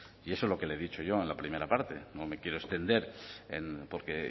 y eso es lo que le he dicho yo en la primera parte no me quiero extender porque